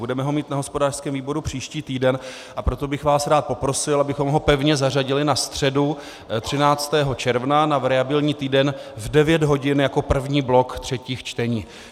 Budeme ho mít na hospodářském výboru příští týden, a proto bych vás rád poprosil, abychom ho pevně zařadili na středu 13. června, na variabilní týden, v 9 hodin jako první blok třetích čtení.